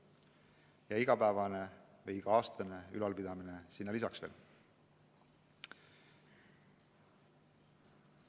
Ja iga-aastane ülalpidamine sinna veel lisaks.